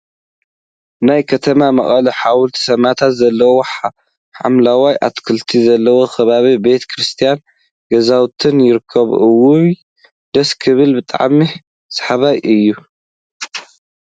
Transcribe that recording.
ናይ ከተማ መቀለ ሓወልቲ ስማእታት ዘለዎ ሓምለዋይ ኣትክልቲ ዘለዎ ከባቢ ቤተ ክርስትያንን ገዛውቲን ይርከብዎ። እዋይ ደስ ክብል! ብጣዕሚ ሰሓባይ እዩ።